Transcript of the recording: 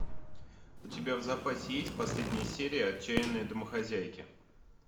у тебя в запасе есть последняя серия отчаянные домохозяйки